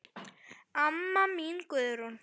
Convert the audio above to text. Amma mín Guðrún.